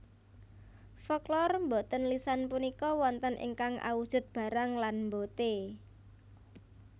Folklor boten lisan punika wonten ingkang awujud barang lan mbote